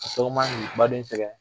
Sogo man k'i baden sɛgɛn